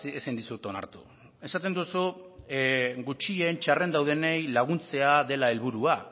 ezin dizut onartu esaten duzu gutxien txarren daudenei laguntzea dela helburua